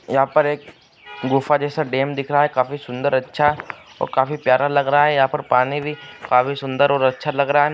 यहां पर एक गुफा जैसा डैम दिख रहा है। काफी सुन्दर अच्छा और काफी प्यारा लग रहा है। यहां पर पानी भी काफी सुन्दर और अच्छा लग रहा है।